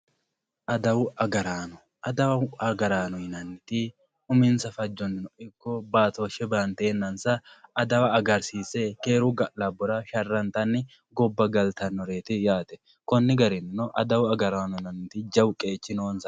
Adawu agaraano adawu agaraano yinaniti uminsa fajonsanino iko baatoshe bantenansa adawa agarisise keeru ga`labora sharantani gobba galtanoreti yaate kuni garinino adawu agaranono jawu qeechi nose yate.